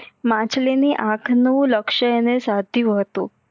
માછલી ની આખ નું લક્ષ્ય અને સધિયું હતું